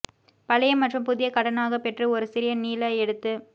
பழைய மற்றும் புதிய கடனாகப் பெற்று ஒரு சிறிய நீல எடுத்து